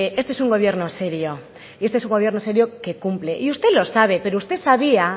este es un gobierno serio y este es un gobierno serio que cumple y usted lo sabe pero usted sabía